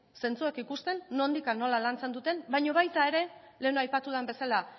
zentzuak ikusten nondik eta nola lantzen duten baino baita ere lehen aipatu dudan bezala